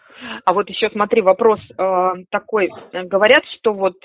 а вот ещё смотри вопрос аа такой говорят что вот